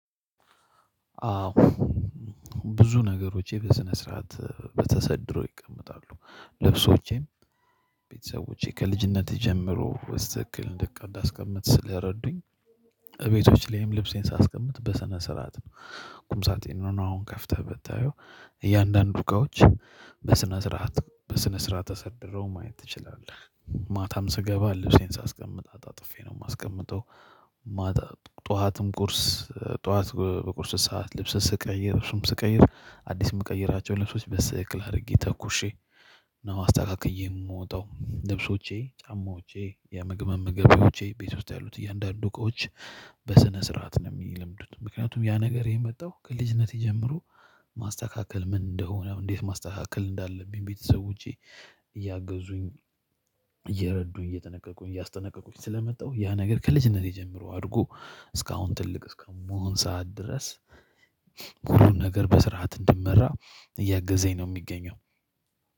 አዎ ብዙ ነገሮቼ በስነ ስርዓት በተሰድሮ ይቀመጣሉ ልብሶቼም ቤተሰቦቼ ከልጅነቴ ጀምሮ በስትክክል እንዳስቀምጥ ስለረዱኝ እቤቶች ላይም ልብሴን ሳስቀምጥ በሰነ ስርዓት ነው። ቁም ሳጥኔን አሁን ከፍተህ ብታየው እያንዳንዱ እቃዎች በስነ ስርዓት በስነ ስርዓት ተሰድረው ማየት ትችላለህ። ማታም ስገባ ልብሴን ሳስቀምጥ አጣጥፌ ነው የማስቀምጠው። ጠዋትም ቁርስ ጠዋት በቁርስ ሰዓት ልብስ ስቀይር ልብሱም ስቀይር አዲስ የምቀይራቸው ልብሶች በስትትክክል አድርጌ ተኩሼ ነው አስተካክዬ የምወጣው ልብሶቼ ጫማዎቼ የምግብ መመገቢያዎቼ ቤት ውስጥ ያሉት እያንዳንዱ እቃዎች በስነ ስርዓት ነው የሚልምዱት። ምክንያቱም ያ ነገር የመጣው ከልጅነቴ ጀጀምሮ ማስተካከል ምን እንደሆነ እንዴት ማስተካከል እንዳለብኝ ቤተሰቦቼ እያገዙኝ እየረዱኝ እየተነቀቁኝ እያስተነቀቁኝ ስለመጣው ያ ነገር ከልጅነቴ ጀምሮ አድርጎ እስካሁን ትልቅ እስከምሆን ሰዓት ድረስ። ሁሉን ነገር በስርዓት እንድመራ እያገዘኝ ነው የሚገኘው።